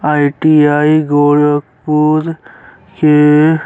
ITI. Gorakhpur के --